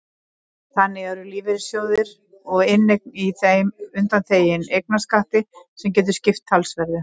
Þannig eru lífeyrissjóðir og inneign í þeim undanþegin eignarskatti sem getur skipt talsverðu.